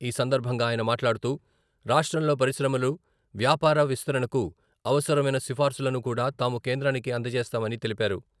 ఈ సందర్భంగా ఆయన మాట్లాడుతూ, రాష్ట్రంలో పరిశ్రమలు, వ్యాపార విస్తరణకు అవసరమైన సిఫార్సులను కూడా తాము కేంద్రానికి అందజేస్తామని తెలిపారు.